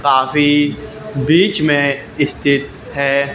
काफी बीच में स्थित है।